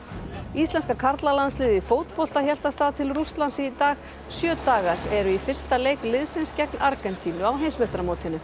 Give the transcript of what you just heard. íslenska karlalandsliðið í fótbolta hélt af stað til Rússlands í dag sjö dagar eru í fyrsta leik liðsins gegn Argentínu á heimsmeistaramótinu